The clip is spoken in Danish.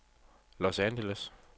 Los Angeles